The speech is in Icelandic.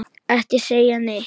Ekki segja neitt!